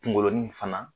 Kungolo nin fana